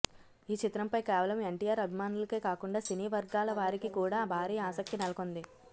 ఈ చిత్రంపై కేవలం ఎన్టీఆర్ అభిమానులకే కాకుండా సినీ వర్గాల వారికి కూడా భారీ ఆసక్తి నెలకొంది